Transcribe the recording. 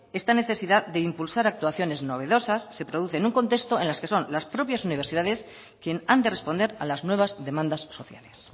esta necesidad de impulsar actuaciones novedosas se producen en un contexto en los que son las propias universidades quien han de responder a las nuevas demandas sociales